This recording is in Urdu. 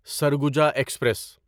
سرگوجا ایکسپریس